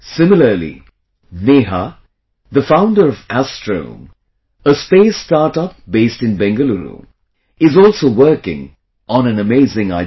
Similarly, Neha, the founder of Astrome, a space startup based in Bangalore, is also working on an amazing idea